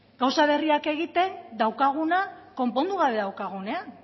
gauza berriak egiten daukaguna konpondu gabe daukagunean